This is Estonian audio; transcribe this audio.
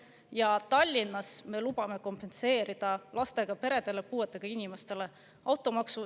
Ja Tallinnas me lubame kompenseerida automaksu lastega peredele ja puuetega inimestele.